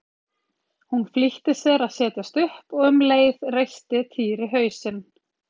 Hún flýtti sér að setjast upp og um leið reisti Týri hausinn.